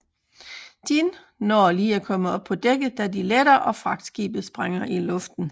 Jin når lige at komme op på dækket da de letter og fragtskibet sprænger i luften